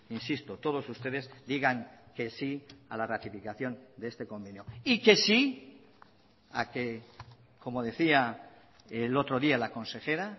insisto todos ustedes digan que sí a la ratificación de este convenio y que sí a que como decía el otro día la consejera